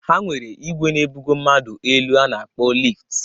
Ha nwere igwe na ebugo mmadụ elu a na-akpọ lift.